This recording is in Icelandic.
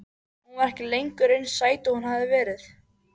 Hún var ekki lengur eins sæt og hún hafði verið.